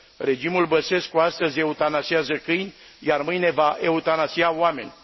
Regimul Băsescu astăzi eutanasiază câini, iar mâine va eutanasia oameni.